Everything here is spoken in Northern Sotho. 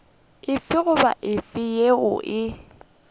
efe goba efe yeo e